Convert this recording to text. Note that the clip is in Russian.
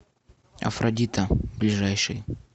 афродита ближайший